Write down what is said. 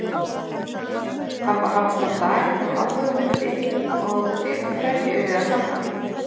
Þarf að hafa svona dag í hávegum uppi og fyrir hverju eruð þið að safna?